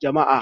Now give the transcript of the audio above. jami'a